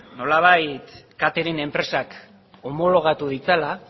nolabait catering enpresak homologatu ditzala